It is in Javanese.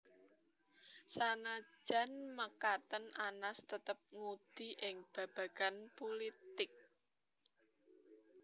Sanajan mekaten Anas tetep ngudi ing babagan pulitik